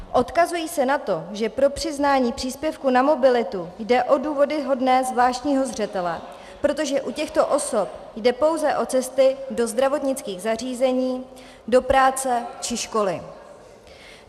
Odkazují se na to, že pro přiznání příspěvků na mobilitu jde o důvody hodné zvláštního zřetele, protože u těchto osob jde pouze o cesty do zdravotnických zařízení, do práce či školy.